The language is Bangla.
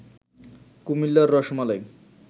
কুমিল্লার রসমালাই